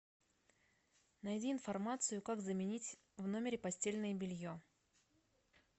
найди информацию как заменить в номере постельное белье